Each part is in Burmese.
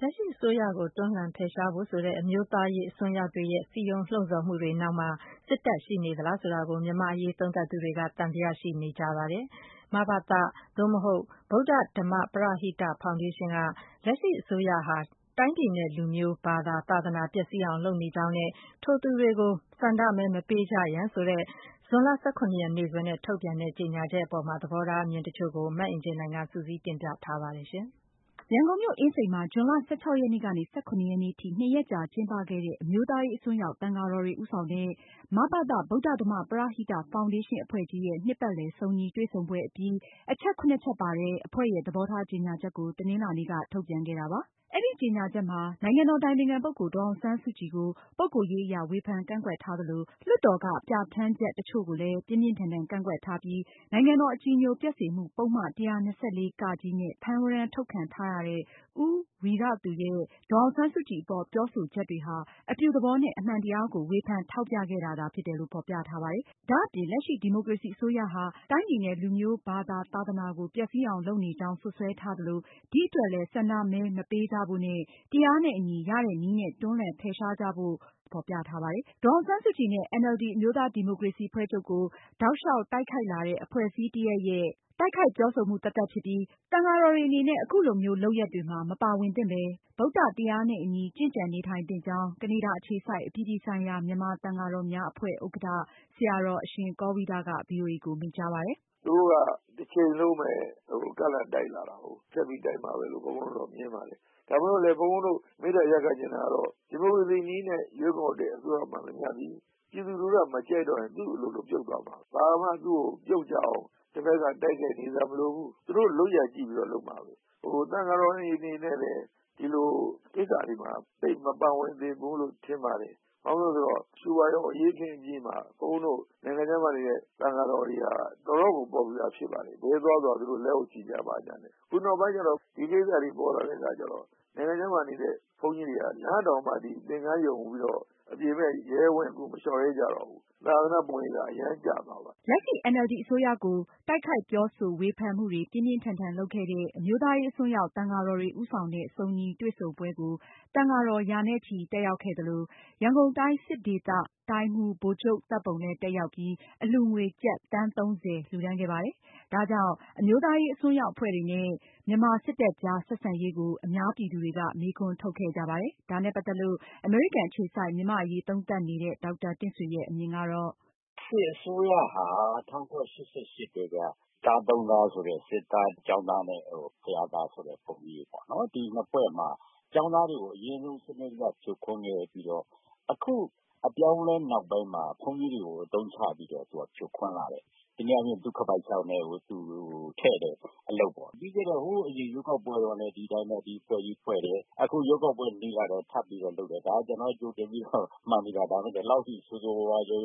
လက်ရှိအစိုးရကို တွန်းလှန်ဖယ်ရှားဖို့ဆိုတဲ့ အမျိုးသားရေးအစွန်းရောက်တွေရဲ့ စည်းရုံးလှုံ့ဆော်မှုတွေရဲ့နောက်မှာ စစ်တပ်ရှိနေသလားဆိုတာကို မြန်မာ့အရေး သုံးသပ်သူတွေက သံသယ ရှိနေကြပါတယ်။ မဘသ/ဗုဒ္ဓ ဓမ္မ ပရဟိတ ဖောင်ဒေးရှင်းက လက်ရှိအစိုးရဟာ တိုင်းပြည်နဲ့လူမျိုး ဘာသာ၊ သာသနာ ပျက်စီးအောင်လုပ်နေကြောင်း နဲ့ ထိုသူများကို ဆန္ဒမဲ မပေးကြရန် ဆိုတဲ့ ဇွန်လ ၁၇ ရက် နေ့စွဲနဲ့ ထုတ်ပြန်တဲ့ ကြေညာချက်အပေါ် သဘောထားအမြင် တချို့ကို မအင်ကြင်းနိုင်က စုစည်း တင်ပြထားပါတယ်။ ရန်ကုန်မြို့ အင်းစိန် မှာ ဇွန်လ ၁၆-၁၇ ရက်နေ့ထိ နှစ်ရက်ကြာကျင်းပခဲ့တဲ့ အမျိုးသားရေးအစွန်းရောက် သံဃာတော်တွေ ဦးဆောင်တဲ့ မဘသ/ ဗုဒ္ဓဓမ္မ ပရဟိတ ဖောင်ဒေးရှင်းအဖွဲ့ကြီးရဲ့ နှစ်ပတ်လည် စုံညီတွေ့ဆုံပွဲအပြီး အချက် (၇)ချက်ပါတဲ့ အဖွဲ့ရဲ့ သဘောထားကြေညာချက်ကို တနင်္လာနေ့က ထုတ်ပြန်ခဲ့တာပါ။ အဲဒီကြေညာချက်မှာ နိုင်ငံတော်အတိုင်ပင်ခံပုဂ္ဂိုလ် ဒေါ်အောင်ဆန်းစုကြည်ကို ပုဂ္ဂိုလ်ရေးအရ ဝေဖန်ကန့်ကွက်ထားသလို၊ လွှတ်တော်က ပြဌာန်းချက်တချို့ကိုလည်း ပြင်းပြင်းထန်ထန်ကန့်ကွက်ထားပြီး နိုင်ငံတော်အကြည်ညိုပျက်စေမှု ပုဒ်မ -၁၂၄(က)နဲ့ ဖမ်းဝရမ်းထုတ်ခံထားရတဲ့ ဦးဝီရသူ ရဲ့ ဒေါ်အောင်ဆန်းစုကြည်အပေါ် ပြောဆိုချက်တွေဟာ အပြုသဘောနဲ့ အမှန်တရားကို ဝေဖန်ထောက်ပြခဲ့တာသာဖြစ်တယ်လို့ ဖေါ်ပြထားပါတယ်။ ဒါအပြင် လက်ရှိ ဒီမိုကရေစီအစိုးရဟာ တိုင်းပြည်နဲ့ လူမျိုးဘာသာ သာသနာကို ပျက်စီးအောင်ပြုလုပ်နေကြောင်း စွပ်စွဲထားသလို ဒီအတွက်လည်း ဆန္ဒမဲ မပေးဖို့နဲ့ တရားနဲ့အညီ ရတဲ့နည်းနဲ့ တွန်းလှယ် ဖယ်ရှားကြဖို့ ဖော်ပြထားပါတယ်။ ဒေါ်အောင်ဆန်းစုကြည်နဲ့ NLD အမျိုးသားဒီမိုကရေစီအဖွဲ့ချုပ်ကို တိုက်လျောက် တိုက်ခိုက်လာတဲ့ အဖွဲ့အစည်းတရပ် ရဲ့ တိုက်ခိုက်ပြောဆိုချက်သာဖြစ်ပြီး သံဃာတော်တွေအနေနဲ့ အခုလိုမျိုး လုပ်ရပ်မှာ မပါဝင်သင့်ပဲ ဗုဒ္ဓတရားနဲ့အညီ ကျင့်ကြံနေထိုင်သင့်ကြောင်းကနေဒါ အခြေစိုက် အပြည်ပြည်ဆိုင်ရာ မြန်မာ သံဃာတော်များ အဖွဲ့ ဥက္ကဌ ဆရာတော် အရှင်ကောဝိဒက ဗွီအိုအေကို မိန့်ကြားပါတယ်။ “ သူတို့က တချိန်လုံးပဲ ကန့်လန့်တိုက်လာတာကို။ ဆက်ပြီးတော့ တိုက်မှာပဲလို့ ဘုန်းဘုန်းတို့က မြင်ပါတယ်။ ဒါကြောင့် ဘုန်းဘုန်းတို့ မေတ္တာရပ်ခံချင်တာကတော့ ဒီမိုကရေစီနည်းနဲ့ ရွေးကောက်တဲ့ အစိုးရမှန်သမျှသည် ပြည်သူက မကြိုက်တော့ရင် သူ့အလိုလို ပြုတ်သွားမှာပဲ။ ဘာမှ သူ့ကို ပြုတ်ကျအောင် တဖက်က တိုက်ခိုက်နေစရာမလိုဘူး။ သူ့တို့လုပ်ရပ်ကြည့်ပြီးတော့ လုပ်မှာပဲ။ သံဃာတော်တွေအနေနဲ့ ဒီလိုကိစ္စတွေမှာ သိပ်မပါဝင်သင့်ဘူးလို့ ထင်ပါတယ်။ ဘာဖြစ်လို့လဲဆိုတော့ ရွှေဝါရောင်အရေးအခင်းအပြီးမှာ ဘုန်းဘုန်းတို့ နိုင်ငံခြားမှာနေတဲ့ သံဃာတော်တွေဟာ တော်တော်ကို ပေါ်ပြူလာဖြစ်ပါတယ်။ ဘယ်သွားသွား သူတို့ လက်အုပ်ချီကြတာနဲ့၊ အခုနောက်ပိုင်းကျတော့ ဒီကိစ္စတွေပေါ်လာတဲ့အခါကျတော့ နိုင်ငံခြားမှာနေတဲ့ ဘုန်းကြီးတွေက လမ်းတောင်မှ သင်္ကန်း ခြုံပြီးတော့ အပြင်ဘက် ရဲရဲဝံ့ဝံ့ကို မလျောက်ရဲကြတော့ဘူး သာသနာ့ပုံရိပ်က အရမ်းကျသွားပါတယ်။” လက်ရှိ NLD အစိုးရကို တိုက်ခိုက်ပြောဆိုဝေဖန်မှုတွေ ပြင်းပြင်းထန်ထန်လုပ်ခဲ့တဲ့ အမျိုးသားရေးအစွန်းရောက် သံဃာတော်တွေဦးဆောင်တဲ့ စုံညီတွေ့ဆုံပွဲကို သံဃာပေါင်း ရာနဲ့ချီ တက်ရောက်ခဲ့သလို၊ ရန်ကုန်တိုင်း စစ်ဒေသတိုင်းမှူး ဗိုလ်ချုပ် သတ်ပုံလည်း တက်ရောက်ပြီး အလှူငွေ ကျပ် သန်း ၃၀ လှူဒါန်းခဲ့ပါတယ်။ ဒါကြောင့် အမျိုးသားရေးအစွန်းရောက်အဖွဲ့တွေနဲ့ မြန်မာစစ်တပ်ကြား ဆက်ဆံရေးကို အများပြည်သူတွေက မေးခွန်းထုတ်ခဲ့ကြပါတယ်။ ဒါနဲ့ ပတ်သက်လို့ အမေရိကန်အခြေစိုက် မြန်မာ့အရေး သုံးသပ်နေတဲ့ ဒေါက်တာတင့်ဆွေရဲ့ အမြင်ကတော့ “စစ်အစိုးရဟာ ၁၉၈၈ ကတည်းက သား ၃ သား ဆိုတဲ့ စစ်သား၊ ကျောင်းသားနဲ့ ဘုရားသားခေါ်တဲ့ ဘုန်းကြီးတွေပေါ့နော်။ ဒီအဖွဲ့မှာ ကျောင်းသားတွေကို အရင်ဆုံးစနစ်တကျ ဖြိုခွင်းခဲ့ပြီးတော့ အခုအပြောင်းအလဲနောက်ပိုင်းမှာ ဘုန်းကြီးတွေကို အသုံးချပြီးတော့ ဖြိုခွင်းလာတယ်။ တနည်းအားဖြင့် သူ့ခါးပိုင်ထဲကို ထည့်တဲ့သူ့အလုပ်ပေါ့။ ပြီးခဲ့တဲ့ ဟိုးအရင်ရွေးကောက်ပွဲတုန်းကလည်း ဒီအတိုင်းပဲ ဒီအဖွဲ့ကြီးဖွဲ့တယ်။ အခု ရွေးကောက်ပွဲနီးလာတော့ ထပ်ပြီးတော့ လုပ်တယ်။ ဒါကျနော်ကတော့ ကြိုတင်ပြီးတော့ မှန်းပြီးသား ဒါပေမယ့် ဒီလောက်ဆိုးဆိုးဝါးဝါးအထိ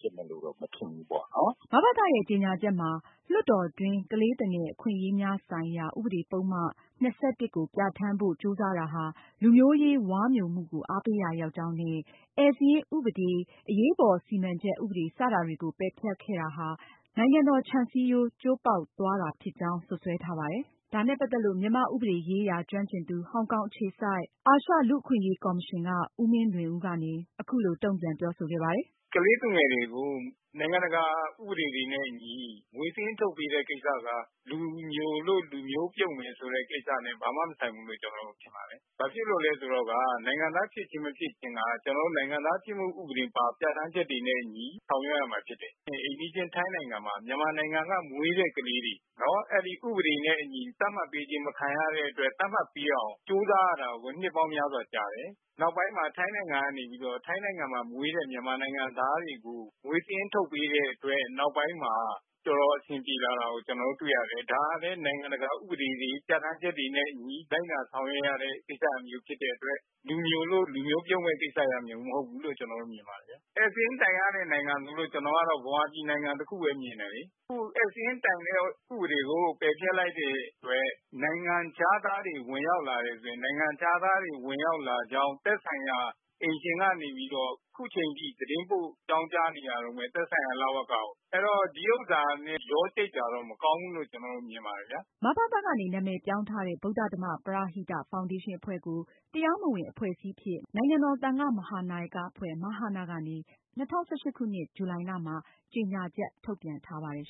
ဖြစ်မယ်လို့တော့ မထင်ဘူးပေါေ့နာ်။” မဘသရဲ့ ကြေညာချက်မှာ လွှတ်တော်တွင်း ကလေးသူငယ် အခွင့်အရေးများဆိုင်ရာ ဥပဒေပုဒ်မ ၂၁ ကို ပြဌာန်းဖို့ ကြိုးစားတာဟာ လူမျိုးရေး ဝါးမျိုမှုကို အားပေးရာ ရောက်ကြောင်းနဲ့ ဧည့်စာရင်းဥပဒေ၊ နောက်ယောင်ခံ စောင့်ကြည့်ရေး ဥပဒေ၊ အရေးပေါ် စီမံချက် ဥပဒေတွေကို ပယ်ဖျက်ခဲ့တာဟာ နိုင်ငံတော် ခြံစည်းရိုး ကျိုးပေါက်သွားတယ်လို့ စွပ်စွဲထားပါတယ်။ ဒါနဲ့ပတ်သက်လို့ မြန်မာ့ဥပဒေရေးရာ ကျွမ်းကျင်သူ ဟောင်ကောင်အခြေစိုက် အာရှလူ့အခွင့်အရေးကော်မရှင်က ဦးမင်းလွင်ဦးကနေ အခုလို တုံ့ပြန်ပြောဆိုခဲ့ပါတယ်။ “ကလေးသူငယ်တွေကို နိုင်ငံတကာ ဥပဒေတွေနဲ့ အညီ မွေးစာရင်းထုန်တဲ့ကိစ္စက လူမျိုလို့ လူမျိုးပြုတ်မယ်ဆိုတဲ့ ကိစ္စနဲ့ ဘာမှမဆိုင်ဘူးလို့ မြင်တယ်။ ဘာဖြစ်လို့လဲဆိုတော့ နိုင်ငံသားဖြစ်ခြင်း မဖြစ်ခြင်းက ကျနော်တို့ နိုင်ငံသားဖြစ်မှုဥပဒေပါ ပြဌာန်းချက်တွေနဲ့အညီ ဆောင်ရွက်ရမှာဖြစ်တယ်။ အိမ်နီးချင်း ထိုင်းနိုင်ငံမှာ မြန်မာနိုင်ငံက မွေးတဲ့ကလေးတွေ အဲဒီ ဥပဒေနဲ့အညီ သတ်မှတ်ပေးခြင်း မခံရတဲ့အတွက် သတ်မှတ်ပေးအောင် ကြိုးစားရတာကို နှစ်ပေါင်းများစွာကြာတယ်။ နောက်ပိုင်းမှာ ထိုင်းနိုင်ငံမှာ မွေးတဲ့ မြန်မာနိုင်ငံသားတွေကို မွေးစာရင်းထုတ်ပေးတဲ့အတွက် နောက်ပိုင်းမှာ တော်တေ်ာအဆင်ပြေလာတာ ကျနော်တွေ့ရတယ်။ ဒါကလည်း နိုင်ငံတကာ ဥပဒေတွေ ပြဌာန်းချက်တွေနဲ့ အညီ လိုက်နာဆောင်ရွက်ရတဲ့ ကိစ္စမျိုးဖြစ်တဲ့အတွက် လူမျိုလို့ လူမျိုးပြုတ်မယ့် ကိစ္စရပ်မျိုးမဟုတ်ဘူးလို့ ကျနော်မြင်ပါတယ်။ ဧည့်စာရင်းတိုင်ရတဲ့ နိုင်ငံ ဆိုလို့ ကျနေ်ာကတော့ မြန်မာပြည် နိုင်ငံတခုပဲ မြင်တယ်လေ။ ဧည့်စာရင်းတိုင်တဲ့ ဥပဒေကို ပယ်ဖျက်လိုက်တဲ့အတွက် နိုင်ငံခြားသားတွေ ဝင်ရောက်လာတယ်ဆိုရင် နိုင်ငံခြားသားတွေ ဝင်ရောက်လာကြောင်း သက်ဆိုင်ရာ အိမ်ရှင်ကနေပြီးတော့ အခုအချိန်အထိ သတင်းပို့ အကြောင်းကြားနေရတုန်းပဲ သက်ဆိုင်ရာ လဝကကို ။ အဲဒီတော့ ဒီဟာနဲ့ ရောကြိတ်တာတော့ မကောင်းဘူးလို့ ကျနော်မြင်တယ်။” မဘသ ကနေ နာမည်ပြောင်းထားတဲ့ ဗုဒ္ဓဓမ္မ ပရဟိတ ဖောင်ဒေးရှင်းအဖွဲ့ကို တရားမဝင် အဖွဲ့အစည်းအဖြစ် နိုင်ငံတော် သံဃမဟာနာယကအဖွဲ့ (မဟန) က ၂ဝ၁၈ ခုနှစ် ဇူလိုင်လမှာ ကြေညာချက်ထုတ်ပြန်ထားပါတယ်